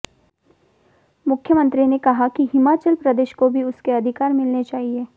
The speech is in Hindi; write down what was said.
मुख्यमंत्री ने कहा कि हिमाचल प्रदेश को भी उसके अधिकार मिलने चाहिए